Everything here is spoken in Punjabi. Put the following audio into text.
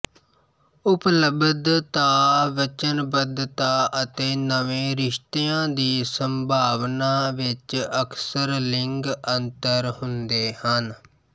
ਉਪਲਬਧਤਾ ਵਚਨਬੱਧਤਾ ਅਤੇ ਨਵੇਂ ਰਿਸ਼ਤਿਆਂ ਦੀ ਸੰਭਾਵਨਾ ਵਿੱਚ ਅਕਸਰ ਲਿੰਗ ਅੰਤਰ ਹੁੰਦੇ ਹਨ